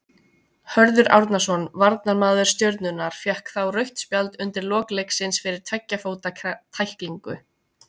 Hörður Árnason, varnarmaður Stjörnunnar, fékk þá rautt spjald undir lok leiksins fyrir tveggja fóta tæklingu.